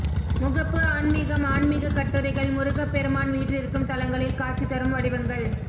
முகப்பு ஆன்மிகம் ஆன்மிகக் கட்டுரைகள் முருகப் பெருமான் வீற்றிருக்கும் தலங்களில் காட்சி தரும் வடிவங்கள்